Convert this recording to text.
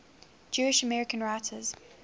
jewish american writers